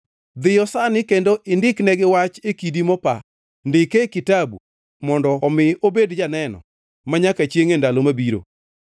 Dhiyo sani kendo indiknegi wach e kidi mopa, Ndike e kitabu, mondo omi obed janeno, manyaka chiengʼ e ndalo mabiro.